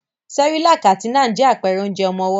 Cerelac àti Nan je àpẹrẹ onjẹ ọmọwọ́.